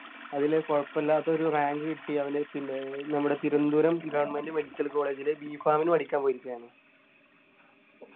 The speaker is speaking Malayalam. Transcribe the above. അതിലെ കുഴപ്പമില്ലാത്ത ഒരു Rank കിട്ടി അവന് പിന്നെ നമ്മടെ തിരുവനന്തപുരം Government medical college ലു B. pharm മിന് പഠിക്കാൻ പോയിരിക്കയാണ്